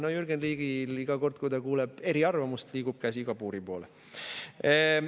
No Jürgen Ligil iga kord, kui ta kuuleb eriarvamust, liigub käsi kabuuri poole.